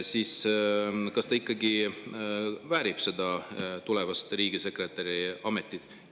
Kas ta ikkagi väärib seda tulevast riigisekretäri ametit?